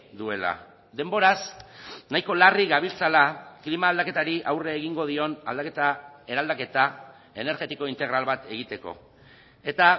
duela denboraz nahiko larri gabiltzala klima aldaketari aurre egingo dion aldaketa eraldaketa energetiko integral bat egiteko eta